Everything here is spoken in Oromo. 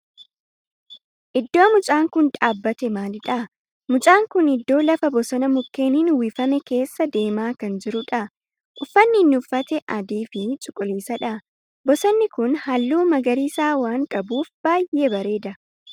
Iddoo mucaan kun dhaabbate maalidha? Mucaan kun iddoo lafa bosona mukkeenin uwwifame keessa deemaa kan jirudha. Uffanni inni uffate adii fi cuquliisa dha. Bosonni kun halluu magariisa waan qabuf baayyee bareeda.